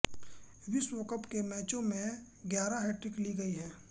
विश्व कप के मैचों में ग्यारह हैट्रिक ली गई हैं